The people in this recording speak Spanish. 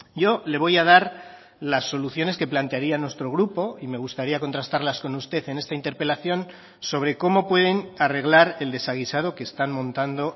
yo le voy a dar las soluciones que plantearía nuestro grupo y me gustaría contrastarlas con usted en esta interpelación sobre cómo pueden arreglar el desaguisado que están montando